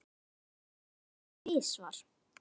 Meira að segja tvisvar